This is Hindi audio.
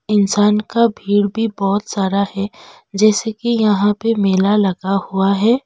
इंसान का भीड़ भी बहोत सारा है जैसे कि यहां पे मेला लगा हुआ है।